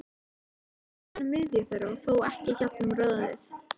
Skerðu síðan í miðju þeirra, þó ekki í gegnum roðið.